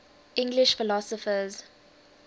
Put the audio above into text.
english philosophers